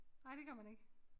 Nej det gør man ikke